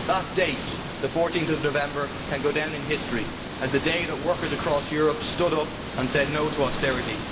That date, 14 November, can go down in history as the day that workers across Europe stood up and said no' to austerity.